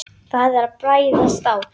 Það er að bræða stál.